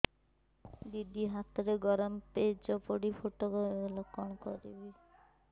ଦିଦି ହାତରେ ଗରମ ପେଜ ପଡି ଫୋଟକା ହୋଇଗଲା କଣ କରିବି